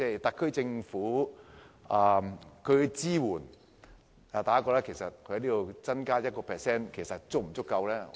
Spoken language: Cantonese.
特區政府對於旅遊業的支援，大家認為只增加 1% 撥款是否足夠？